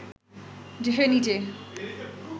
সে নিজে